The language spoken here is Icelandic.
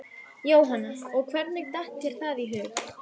Jóhanna: Og hvernig datt þér það í hug?